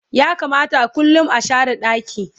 ya kamata kullum a share ɗaki